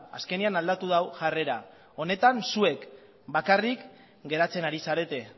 azkenean aldatu du jarrera honetan zuek bakarrik geratzen ari zarete